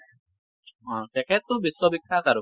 অ তেখেত টো বিশ্ববিখ্যাত আৰু